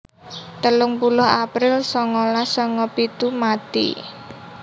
telung puluh april sangalas sanga pitu mati